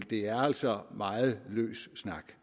det er altså meget løs snak